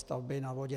Stavby na vodě.